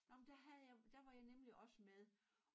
Nå men der havde jeg der var jeg nemlig også med